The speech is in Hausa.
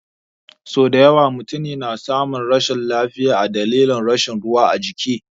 Sau dayawa mutune na samun rashin lafiya a dalilin rashin ruwa ajiki